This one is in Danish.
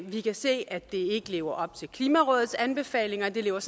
vi kan se at det ikke lever op til klimarådets anbefalinger og det lever